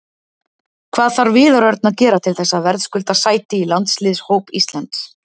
Hvað þarf Viðar Örn að gera til þess að verðskulda sæti í landsliðshóp Íslands?